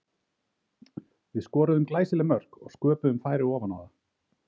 Við skoruðum glæsileg mörk og sköpuðum færi ofan á það.